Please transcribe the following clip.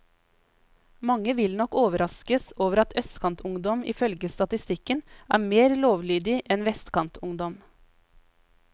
Mange vil nok overraskes over at østkantungdom ifølge statistikken er mer lovlydige enn vestkantungdom.